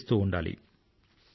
వికసిస్తూ ఉండాలి